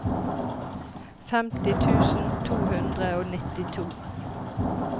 femti tusen to hundre og nittito